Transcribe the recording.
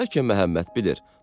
Bəlkə Məhəmməd bilir.